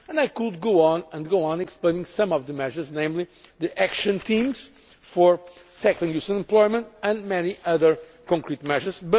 I could go on at length explaining some of the measures, namely the action teams for tackling youth unemployment and many other concrete measures.